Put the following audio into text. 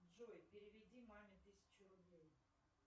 джой переведи маме тысячу рублей